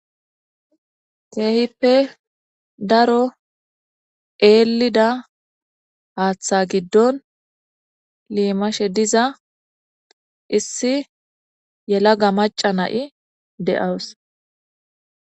Hayssa misileza bolla tani xeelishin taasi ha'i beetizay aaze gizayssa giddikko tani be'iza mala woykko tani xeeliza wode issi macaya haatheza gidfon liimawusi.